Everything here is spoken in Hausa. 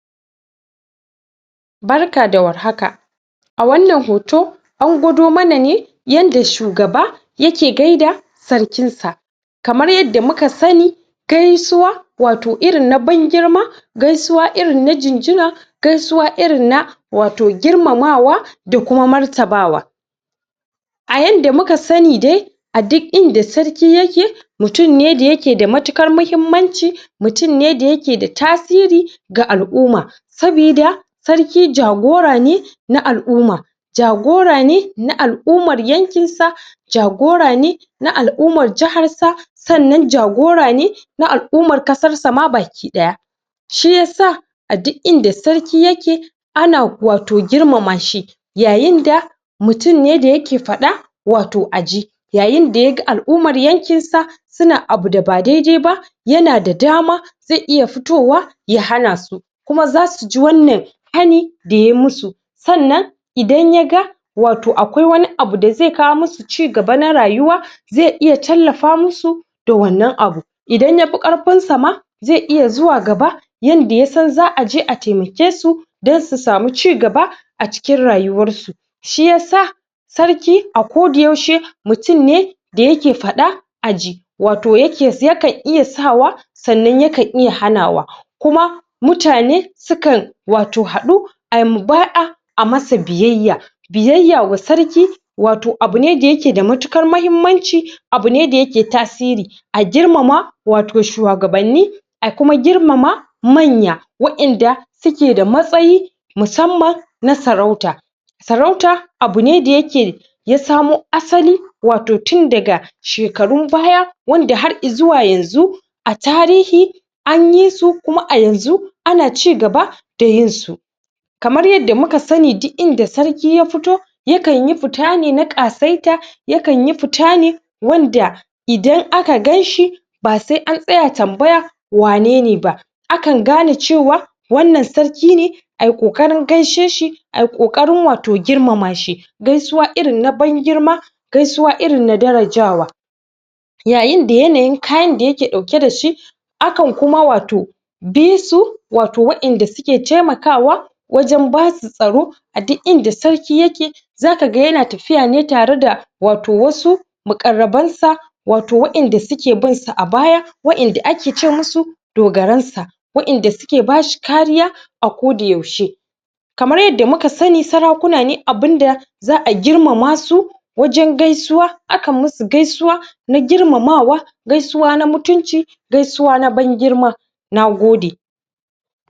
arka da warhaka. A wannan hoto an gwada mana ne yanda shugaba yake gaida sarkin sa. Kamar yanda muka sani gaisuwa wato irin na ban girma gaisu irin na jinjina gaisuwa irin na wato girmamawa da kuma martaba wa. A yanda muka sani dai a duk inda sarki yake mutum ne da yake da matukar muhimmanci, mutum ne da yake da tasiri ga al'umma saboda sarki jagora ne na al'umma, jagora ne na al'umman yankin sa jagora ne na al'ummar jahar sa sannan jagora ne na al'umman ƙasan sa ma baki ɗaya. Shiyasa a duk inda sarki yake a na wato girmama shi yayinda mutum ne da yake faɗa wato a ji. Yayinda ya ga al'umman yankin sa suna abu da ba daidai ba yana da dama zai iya fitowa ya hana su. Kuma za suji wannan hani da ya musu Sannan idan ya ga wato akwai abu da zai kawo musu cigaba na rayuwa, zai iya tallafa musu da wannan abu. Idan ya fi ƙarfin sa ma zai iya zuwa gaba yanda ya san za a je a taimake su don su samu cigaba a cikin rayuwar su. Shiyasa sarki a ko da yaushe mutum ne da yake faɗa a ji. wato ya kan iya sawa sannan ya kan iya hanawa kuma, mutane su kan wato haɗu ayi mubaya'a ayi masa biyayya Biyya wa sarki wato abu ne da yake da matuƙar muhimmanci, abu ne da yake tasiri a girmama wato shuwagabanni a kuma girmama manya. wadanda suke da matsayi musamman na sarauta, Sarauta abu ne da yake ya samo asali wato tun daga shekarun baya wanda har izuwa yanzu a tarihi anyi su kuma a yanzu ana cigaba da yin su Kamar yanda muka sani duk inda sarki ya fito ya kanyi fita ne na ƙasaita, ya kanyi fita ne wanda idan aka ganshi ba sai an tsaya tambaya wanene ba. A kan gane cewa wannan sarki ne ayi ƙokarin gaishe shi ayi ƙokarin wato girmama shi. Gaisuwa irin na ban girma gaisuwa irin na daraja wa yayinda yanayin kayan da yake ɗauke da shi a kan kuma wato bi su wato waɗanda suke taimakawa wajen basu tsaro a duk inda sarki yake za kaga yana tafiya ne tare da wato wasu muƙarraban sa wato wadanda suke bin sa a baya waɗanda ake ce musu dogaran sa. waɗanda suke bashi kariya a ko da yaushe Kamar yanda muka sani sarakuna ne abinda za a girmama su wajen gaisuwa, akan musu gaisuwa na girmama wa gaisuwa na mutunci gaisuwa na ban girma Na gode.